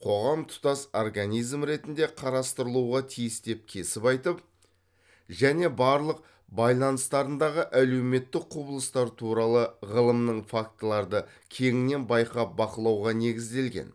қоғам тұтас организм ретінде қарастырылуға тиіс деп кесіп айтып және барлық байланыстарындағы әлеуметтікк құбылыстар туралы ғылымның фактыларды кеңінен байқап бақылауға негізделген